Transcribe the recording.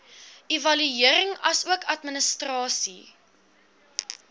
evaluering asook administrasie